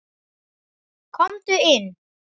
Komdu inn